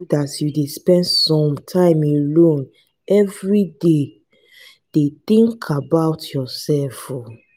as you dey spend some time alone everyday dey tink about yoursef um.